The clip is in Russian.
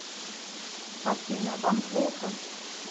афина вам плохо